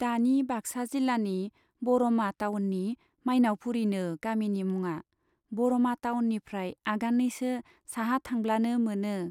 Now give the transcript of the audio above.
दानि बाक्सा जिल्लानि बरमा टाउननि माइनाउपुरीनो गामिनि मुङा, बरमा टाउननिफ्राय आगाननैसो साहा थांब्लानो मोनो।